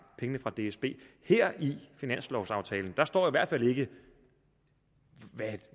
pengene fra dsb her i finanslovaftalen står i hvert fald ikke